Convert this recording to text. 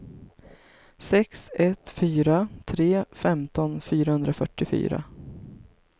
sex ett fyra tre femton fyrahundrafyrtiofyra